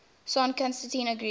son constantine agreed